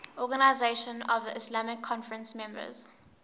organisation of the islamic conference members